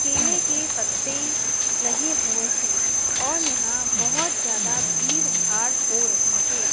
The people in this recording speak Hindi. केले के पत्ते लगे हुए हैं और यहां बहुत ज्यादा भीड़ भाड़ हो रही है।